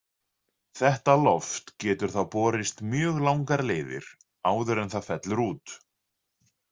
Þetta loft getur þá borist mjög langar leiðir áður en það fellur út.